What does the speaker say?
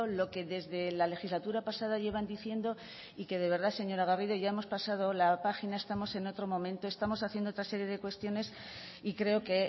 lo que desde la legislatura pasada llevan diciendo y que de verdad señora garrido ya hemos pasado la página estamos en otro momento estamos haciendo otra serie de cuestiones y creo que